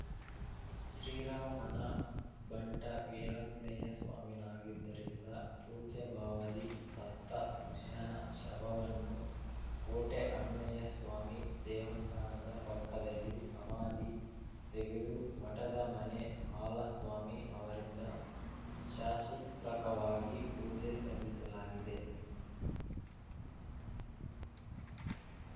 ಶ್ರೀರಾಮನ ಭಂಟ ವೀರಾಂಜನೇಯಸ್ವಾಮಿನಾಗಿದ್ದರಿಂದ ಪೂಜ್ಯಭಾವದಿ ಸತ್ತ ಮುಷ್ಯನ ಶವವನ್ನು ಕೋಟೆ ಆಂಜನೇಸ್ವಾಮಿ ದೇವಸ್ಥಾನದ ಪಕ್ಕದಲ್ಲಿ ಸಮಾಧಿ ತೆಗೆದು ಮಠದ ಮನೆ ಹಾಲಸ್ವಾಮಿ ಅವರಿಂದ ಶಾಸೂತ್ರಕವಾಗಿ ಪೂಜೆ ಸಲ್ಲಿಸಲಾಗಿದೆ